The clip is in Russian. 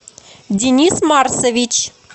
денис марсович